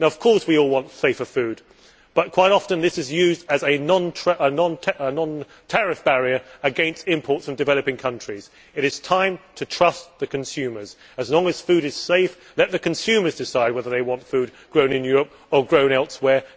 Of course we all want safer food, but quite often, these standards are used as a non tariff barrier against imports from developing countries. It is time to trust the consumers. As long as food is safe, let the consumers decide whether they want food grown in Europe or grown elsewhere.